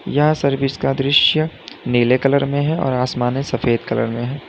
यह सर्विस का दृश्य नीले कलर में है और आसमाने सफेद कलर में है।